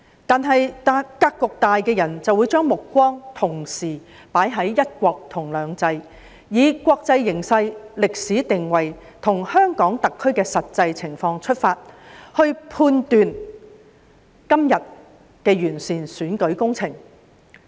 不過，格局大的人會將目光同時放在"一國"及"兩制"上，以國際形勢，歷史定位及香港特區的實際情況出發，判斷今日的完善選舉工程。